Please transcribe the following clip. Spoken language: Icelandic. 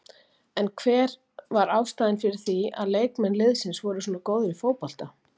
En hver var ástæðan fyrir því að leikmenn liðsins voru svona góðir í fótbolta?